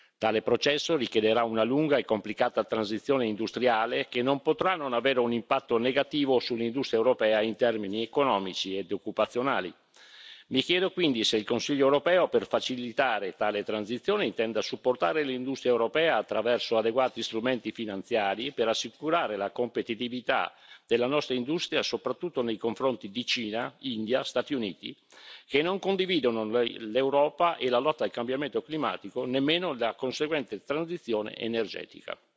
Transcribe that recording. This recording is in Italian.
Tale processo richiederà una lunga e complicata transizione industriale, che non potrà non avere un impatto negativo sull'industria europea in termini economici e occupazionali. Mi chiedo quindi se il Consiglio europeo, per facilitare tale transizione, intenda supportare l'industria europea attraverso adeguati strumenti finanziari per assicurare la competitività della nostra industria, soprattutto nei confronti di Cina, India e Stati Uniti, paesi che non condividono con l'Europa la lotta al cambiamento climatico, nemmeno da conseguente transizione energetica.